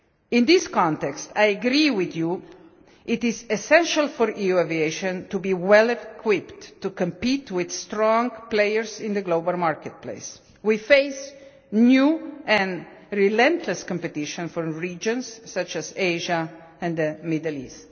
In this context, I agree with Members that it is essential for EU aviation to be well equipped to compete with strong players in the global marketplace. We face new and relentless competition from regions such as Asia and the Middle East.